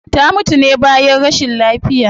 Ta mutu ne bayan rashin lafiya